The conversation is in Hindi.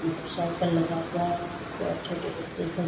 मोटर साइकिल लगा हुआ है वहां पे और छोटे बच्चे सब --